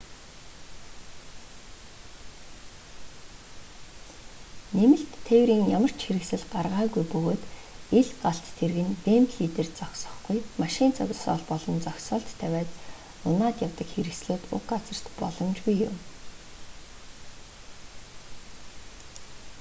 нэмэлт тээврийн ямар ч хэрэгсэл гаргаагүй бөгөөд ил галт тэрэг нь вэмбли дээр зогсохгүй машин зогсоол болон зогсоолд тавиад унаад явдаг хэрэгслүүд уг газарт боломжгүй юм